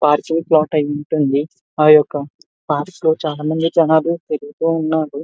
Parking floor ఉంటుంది. ఆ యొక్క పాస్ లో చాలామంది జనాలు వెళ్తు ఉన్నాడు.